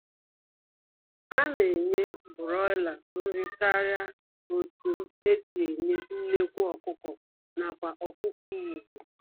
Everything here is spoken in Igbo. A na-enye Broiler nri karịa otunn e si enye nnekwu ọkụkọ nakwa ọkụkọ Igbo.